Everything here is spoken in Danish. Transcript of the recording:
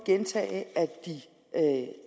at